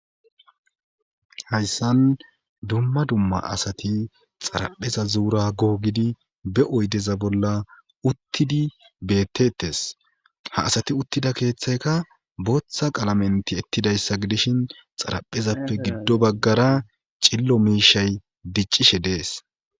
hayssan dumma dumma asati xarapheza zuura googidi be oydeza bolla uttidi bettettes ha asati uttida keeththayka booththa qalamenti ettidayssa gidishin xaraphezappe giddo baggara cillo miishay diccishe dees